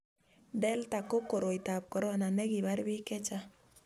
delta ko koroitab korona ne kibar biik che chang'